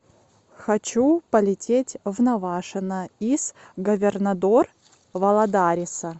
хочу полететь в навашино из говернадор валадариса